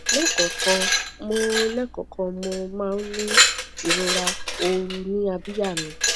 lẹẹkọọkan mo lẹẹkọọkan mo máa ń ní ìrora ooru ní abíyá mi